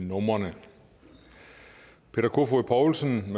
numrene peter kofod poulsen